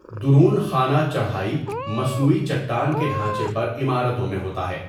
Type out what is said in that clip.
درون خانہ چڑھائی مصنوعی چٹان کے ڈھانچے پر عمارتوں میں ہوتا ہے۔